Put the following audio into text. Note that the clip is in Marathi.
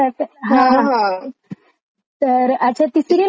तर अच्छा ती सीरिअल कशीये मग मी अस वरुण वरुणच बघितली?